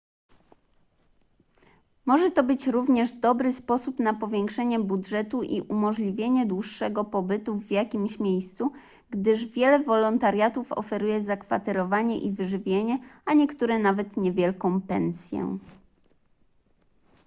może to być również dobry sposób na powiększenie budżetu i umożliwienie dłuższego pobytu w jakimś miejscu gdyż wiele wolontariatów oferuje zakwaterowanie i wyżywienie a niektóre nawet niewielką pensję